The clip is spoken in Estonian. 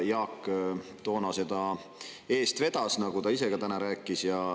Jaak vedas toona seda eest, nagu ta ise ka täna rääkis.